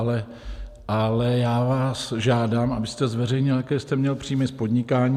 Ale já vás žádám, abyste zveřejnil, jaké jste měl příjmy z podnikání.